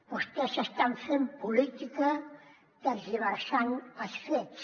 vostès estan fent política tergiversant els fets